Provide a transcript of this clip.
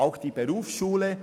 Catherine Graf Lutz (f)